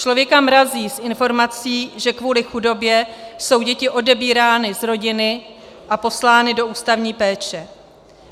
Člověka mrazí z informací, že kvůli chudobě jsou děti odebírány z rodiny a poslány do ústavní péče.